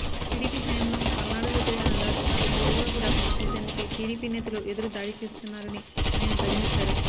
TDP హయాంలో పల్నాడులో జరిగిన అరాచకాలు వెలుగులోకి రాకుండా చూసేందుకే టిడిపి నేతలు ఎదురు దాడి చేస్తున్నారని ఆయన ధ్వజమెత్తారు